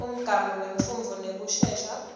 umgamu wemfundvo nekucecesha